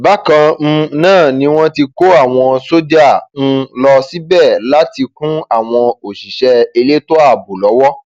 bákan um náà ni wọn ti kó àwọn sójà um lọ síbẹ láti kún àwọn òṣìṣẹ elétò ààbò lọwọ